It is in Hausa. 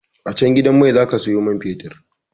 A can gidan mai zaka siyo man fetir